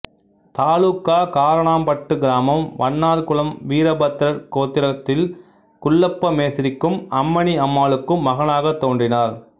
தாலூக்கா காரணாம்பட்டு கிராமம் வண்ணார் குலம் வீரபத்திரர் கோத்திரத்தில் குள்ளப்ப மேஸ்திரிக்கும் அம்மணி அம்மாளுக்கும் மகனாக தோன்றினார்